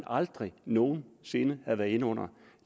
aldrig nogen sinde havde været inde under